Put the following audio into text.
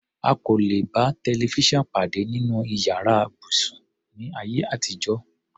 A kò lè bá tẹlifísàn pàdé nínú yàrá ibùsùn, ní ayé àtijọ́.